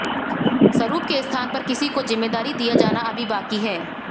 सरूप के स्थान पर किसी को जिम्मेदारी दिया जाना अभी बाकी है